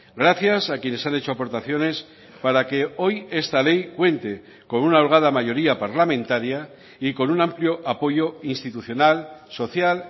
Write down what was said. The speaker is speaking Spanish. gracias a quienes han hecho aportaciones para que hoy esta ley cuente con una holgada mayoría parlamentaria y con un amplio apoyo institucional social